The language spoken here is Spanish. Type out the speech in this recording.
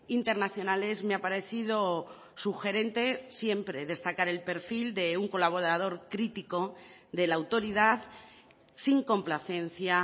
internacionales me ha parecido sugerente siempre destacar el perfil de un colaborador crítico de la autoridad sin complacencia